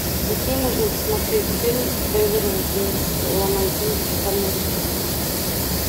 какие можно посмотреть фильм эверглейдс ламантины кристальной реки